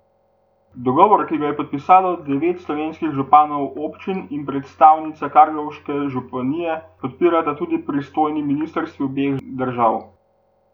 Dogovor, ki ga je podpisalo devet slovenskih županov občin in predstavnica karlovške županije, podpirata tudi pristojni ministrstvi obeh držav.